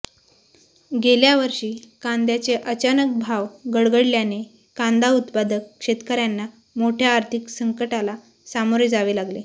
गेल्या वर्षी कांद्याचे अचानक भाव गडगडल्याने कांदा उत्पादक शेतकर्यांना मोठ्या आर्थिक संकटाला सामोरे जावे लागले